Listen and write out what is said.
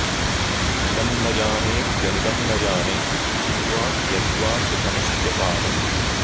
इदं न जानेऽप्यनिदं न जाने किं वा कियद्वा सुखमस्त्यपारम्